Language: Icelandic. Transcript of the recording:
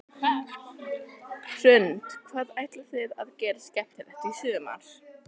Hrund: Hvað ætlið þið að gera skemmtilegt í sumar?